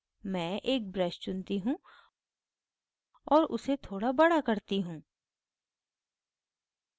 मैं एक brush चुनती हूँ और उसे बड़ा करती हूँ